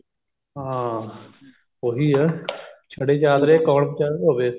ਹਾਂ ਉਹੀ ਏ ਚਾਦਰੇ ਛੜੇ ਦੇ ਕੋਣ ਵਿਚਾਰੇ ਧੋਵੇ